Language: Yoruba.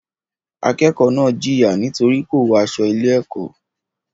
Akẹ́kọ̀ọ́ náà jìyà nítorí kò wọ aṣọ ilé-ẹ̀kọ́.